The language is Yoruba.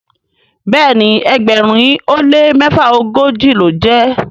Béèni ẹgbẹrin o le mefaogoji lọ jé.